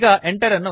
ಈಗ enter ಅನ್ನು ಒತ್ತಿ